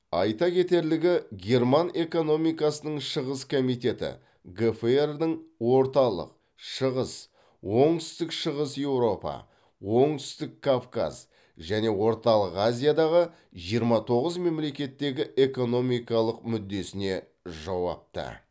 айта кетерлігі герман экономикасының шығыс комитеті гфр дың орталық шығыс оңтүстік шығыс еуропа оңтүстік кавказ және орталық азиядағы жиырма тоғыз мемлекеттегі экономикалық мүддесіне жауапты